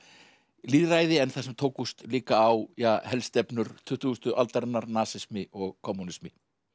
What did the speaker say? lýðræði en þar sem tókust líka á tuttugustu aldarinnar nasismi og kommúnisti